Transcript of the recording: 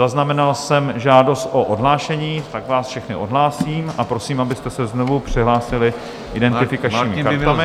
Zaznamenal jsem žádost o odhlášení, tak vás všechny odhlásím a prosím, abyste se znovu přihlásili identifikačními kartami.